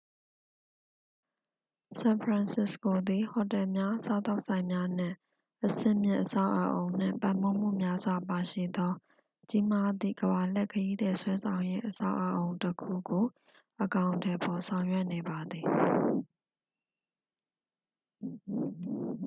ဆန်ဖရန်စစ္စကိုသည် ဟိုတယ်များ စားသောက်ဆိုင်များ နှင့် အဆင့်မြင့် အဆောက်အုံနှင့်ပံ့ပိုးမှု များစွာပါရှိသော ကြီးမားသည့် ကမ္ဘာလှည့်ခရီးသည်ဆွဲဆောင်ရေးအဆောက်အအုံတစ်ခုကို အကောင်အထည်ဖော်ဆောင်ရွက်နေပါသည်